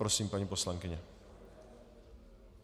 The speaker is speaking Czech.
Prosím, paní poslankyně.